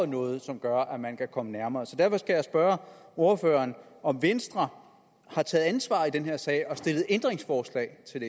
noget som gør at man kan komme nærmere derfor skal jeg spørge ordføreren om venstre har taget ansvar i den her sag og stillet ændringsforslag til